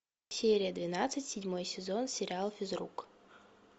серия двенадцать седьмой сезон сериал физрук